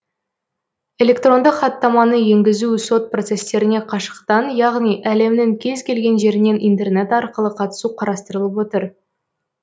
электронды хаттаманы енгізу сот процестеріне қашықтан яғни әлемнің кез келген жерінен интернет арқылы қатысу қарастырылып отыр